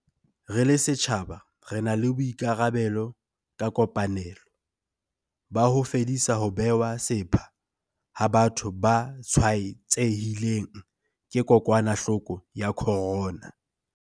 Re le setjhaba re na le boikarabelo ka kopanelo, ba ho fedisa ho bewa sepha ha batho ba tshwaetsehileng ke kokwanahloko ya corona.